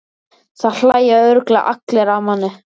Það hlæja örugglega allir að manni.